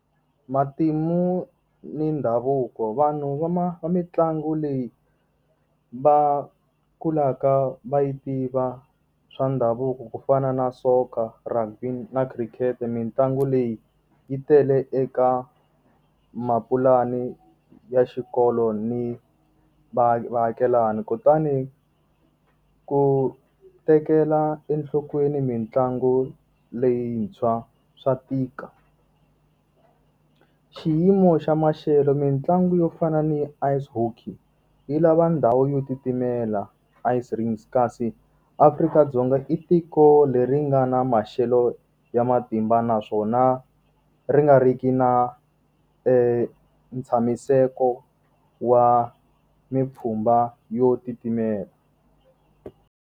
Matimu ni ndhavuko. Vanhu va mitlangu leyi va kulaka va yi tiva swa ndhavuko ku fana na soccer, rugby na cricket. Mintlangu leyi yi tele eka mapulani ya xikolo ni vaakelani. Kutani ku tekela enhlokweni mitlangu leyintshwa swa tika. Xiyimo xa maxelo, mitlangu yo fana ni ice hockey yi lava ndhawu yo titimela ice rings kasi, Afrika-Dzonga i tiko leri nga na maxelo ya matimba naswona ri nga ri ki na ntshamiseko wa mipfhumba yo titimela.